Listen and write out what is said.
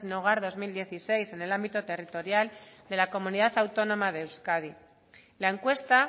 hogar dos mil dieciséis en el ámbito territorial de la comunidad autónoma de euskadi la encuesta